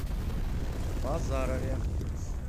базарове